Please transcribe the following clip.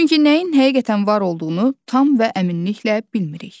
Çünki nəyin həqiqətən var olduğunu tam və əminliklə bilmirik.